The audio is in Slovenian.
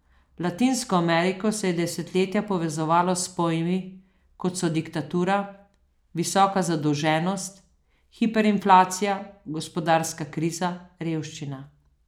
Latinsko Ameriko se je desetletja povezovalo s pojmi, kot so diktatura, visoka zadolženost, hiperinflacija, gospodarska kriza, revščina.